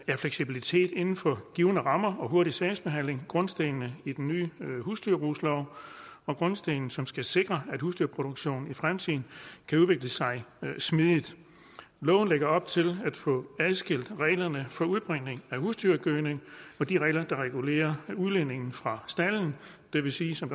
er fleksibilitet inden for givne rammer og hurtig sagsbehandling grundstenen i den nye husdyrbrugslov grundstenen som skal sikre at husdyrproduktionen i fremtiden kan udvikle sig smidigt loven lægger op til at få adskilt reglerne for udbringning af husdyrgødning fra de regler der regulerer udledningen fra stalden det vil sige som